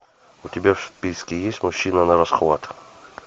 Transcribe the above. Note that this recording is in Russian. у тебя в списке есть мужчина нарасхват